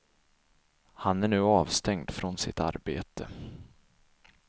Han är nu avstängd från sitt arbete.